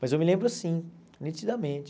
Mas eu me lembro assim, nitidamente.